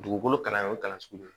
Dugukolo kalanyɔrɔ kalan sugu